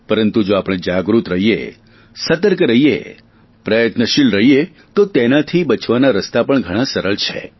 પરંતુ જો આપણે જાગૃત રહીએ સતર્ક રહીએ પ્રયત્નશીલ રહીએ તો તેનાથી બચવાના રસ્તા પણ ઘણા સરળ છે